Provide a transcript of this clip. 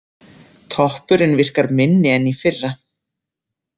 Toppurinn virkar minni en í fyrra.